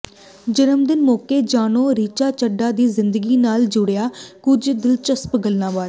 ਜਨਮਦਿਨ ਮੌਕੇ ਜਾਣੋ ਰਿਚਾ ਚੱਢਾ ਦੀ ਜ਼ਿੰਦਗੀ ਨਾਲ ਜੁੜੀਆਂ ਕੁਝ ਦਿਲਚਸਪ ਗੱਲਾਂ ਬਾਰੇ